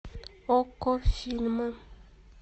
окко фильмы